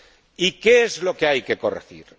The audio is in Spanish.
¿Y qué es lo que hay que corregir?